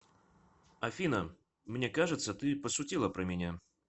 афина мне кажется ты пошутила про меня